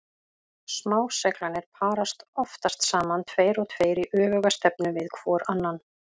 Smá-seglarnir parast oftast saman tveir og tveir í öfuga stefnu hvor við annan.